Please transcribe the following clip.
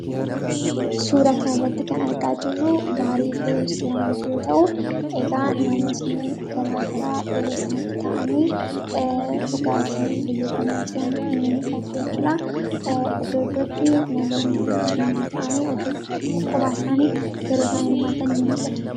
Suuraa kana irratti kan argaa jirru Baarii fi Restoraantii yoo ta'u, egaa namoonni garaagaraa yeroo isaan itti taa'anii dhugaatii fayyadamaa jiran ni mul'itu jechuu dha. Iddo iddootti namoonni cimdii ta'anii iddo iddootti immoo kophaa isaanii yeroo isaan hirmaatan ni mul'itu.